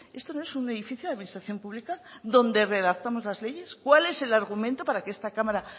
esto no es un edificio de administración pública donde redactamos las leyes cuál es el argumento para que esta cámara